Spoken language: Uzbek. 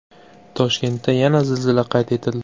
Toshkentda yana zilzila qayd etildi.